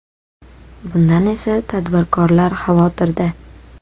Bundan esa tadbirkorlar xavotirda.